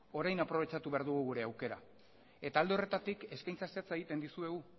orain aprobetxatu behar dugu gure aukera eta alde horretatik eskaintza zehatza egiten dizuegu